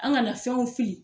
An kana fɛnw fili